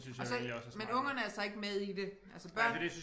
Og så men ungerne er så ikke med i det altså børn